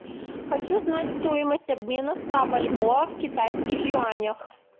хочу знать стоимость обмена ста бальбоа в китайских юанях